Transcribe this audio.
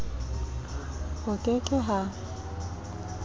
ho ke ke h a